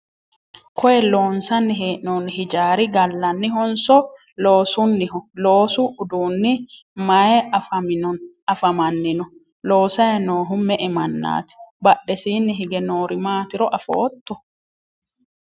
koye loonsanni hee'noonni hijaari gallannihonso loosunniho? loosu uduunni maye afamanni no? loosayi noohu me"e mannaati? badhesiinni hige noori maatiro afootto?